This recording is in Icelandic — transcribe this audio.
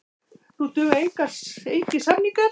Nú duga engir samningar.